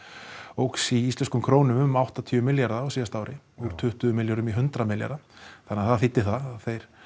óx í íslenskum krónum um áttatíu milljarða á síðasta ári úr tuttugu milljörðum í hundrað milljarða það þýddi það að þeir